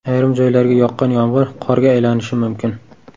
Ayrim joylarga yoqqan yomg‘ir qorga aylanishi mumkin.